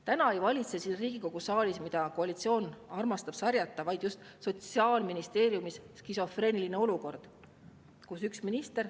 Täna ei valitse mitte siin Riigikogu saalis, mida koalitsioon armastab sarjata, vaid valitseb just Sotsiaalministeeriumis skisofreeniline olukord.